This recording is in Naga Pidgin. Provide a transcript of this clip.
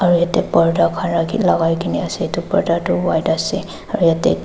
yatae borta khan rakhi lakai kae na ase edu borta tu white ase aro yatae--